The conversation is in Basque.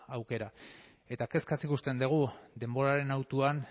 aukera eta kezkaz ikusten dugu denboraren hautuan